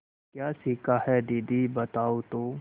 क्या सीखा है दीदी बताओ तो